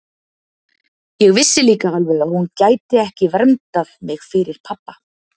Ég vissi líka alveg að hún gæti ekki verndað mig fyrir pabba.